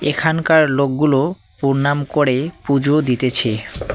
এখানকার লোকগুলো পোরনাম করে পূজো দিতেছে।